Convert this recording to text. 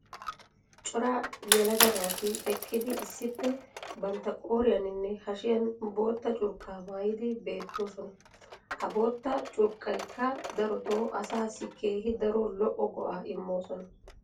cora yelaga naati eqqidi issippe bantta qooriyaaninne hashiyan bootta curqqaa maayidi beettoosona. ha bootta curqqaykka darotoo asaassi keehi daro lo'o go'aa immoosona.